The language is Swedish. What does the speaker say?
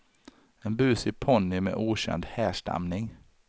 En busig ponny med okänd härstamning.